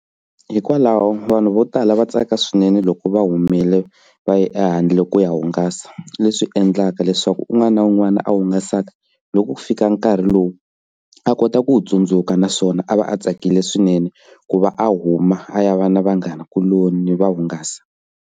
Hikwalaho vanhu vo tala va tsaka swinene loko va humile va ya ehandle ku ya hungasa leswi endlaka leswaku un'wana na un'wana a hungasaka loko ku fika nkarhi lowu a kota ku wu tsundzuka naswona a va a tsakile swinene ku va a huma a ya va na vanghana kuloni va hungasa.